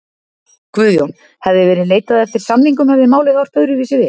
Guðjón: Hefði verið leitað eftir samningum hefði málið horft öðruvísi við?